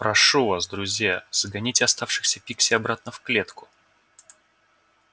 прошу вас друзья загоните оставшихся пикси обратно в клетку